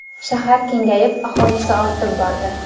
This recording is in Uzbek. Shahar kengayib, aholisi ortib bordi.